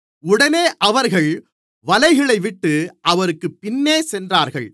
உடனே அவர்கள் வலைகளைவிட்டு அவருக்குப் பின்னே சென்றார்கள்